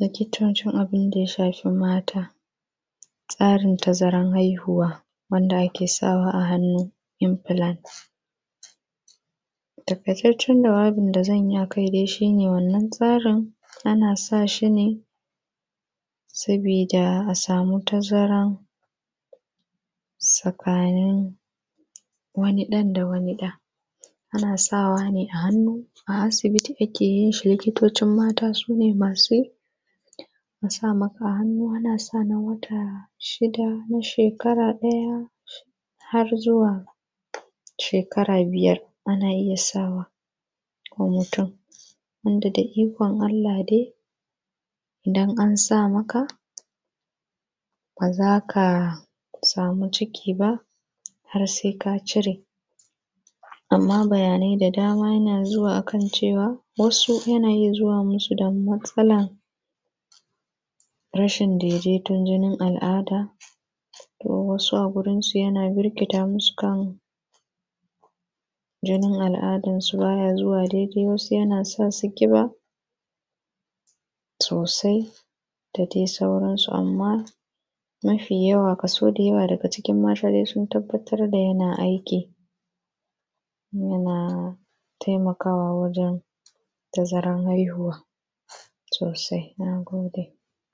likitocin abun da ya shafi mata, tsarin tazarar haihuwa wanda ake sawa a hannu (implant) Taƙaitaccen jawabin da zan yi a kai dai shi ne, wannan tsarin. Ana sa shi ne, saboida a samu tazaran, tsakanin wani ɗan da wani ɗa. Ana sawa ne, a hannu a asibiti ake yin shi, likitocin mata su ne masu yi, a sa maka a hannu. Ana son a wata shida, na shekara ɗaya, har zuwa shekara biyar, ana iya sa wa, wa mutum, wanda da ikon Allah dai, idan an sa maka, ba za ka samu ciki ba, har sai ka cire. Amma bayanai da dama yana zuwa a kan cewa, wasu yana iya zuwa musu da matsala, rashin daidaiton jinin al'ada. Kuma wasu a wurinsu yana birkita musu kan, jinin al'adansu ba ya zuwa daidai; wasu yana sa su ƙiba, sosai, da dai sauransu, amma, mafi yawa kaso da yawa kaso daga cikin mata dai sun tabbatar da yana aiki. janaa taimakaawaa waǳen tazaran haihuwaa soosai. Naa goodee.